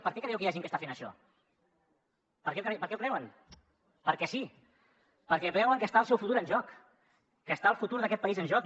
per què creieu que hi ha gent que està fent això per què ho creuen perquè sí perquè veuen que està el seu futur en joc que està el futur d’aquest país en joc